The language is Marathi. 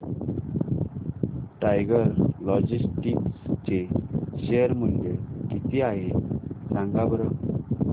टायगर लॉजिस्टिक्स चे शेअर मूल्य किती आहे सांगा बरं